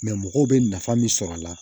mɔgɔw bɛ nafa min sɔrɔ a la